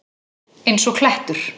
Eins og klettur!